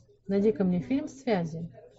найди ка мне фильм связи